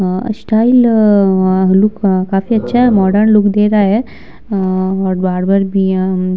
अ style अअअ look काफी अच्छा है। मॉडर्न लुक दे रहा है अअअ और बार्बर भी यहाँ --